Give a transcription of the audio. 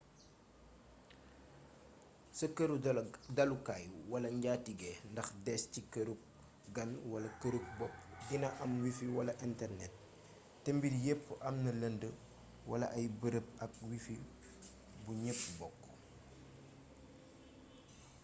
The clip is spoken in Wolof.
sa këru dallukaay wala njaatigé ndax dés ci këruk gan wala këru bopp dina am wifi wala internet té mbir yepp amna lënd wala ay bërëb ak wifi bu ñepp bokk